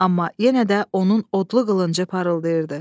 Amma yenə də onun odlu qılıncı parıldayırdı.